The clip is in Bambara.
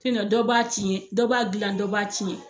dɔ b'a tiɲɛ dɔ b'a dila dɔ b'a tiɲɛ.